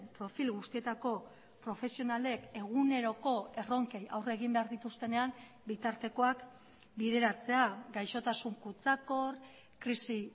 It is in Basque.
profil guztietako profesionalek eguneroko erronkei aurre egin behar dituztenean bitartekoak bideratzea gaixotasun kutsakor krisi